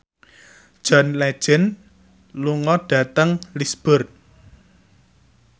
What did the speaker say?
John Legend lunga dhateng Lisburn